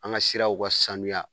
An ŋa siraw ka sanuya